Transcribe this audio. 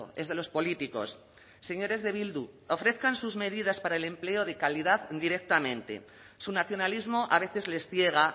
es de los políticos señores de bildu ofrezcan sus medidas para el empleo de calidad directamente su nacionalismo a veces les ciega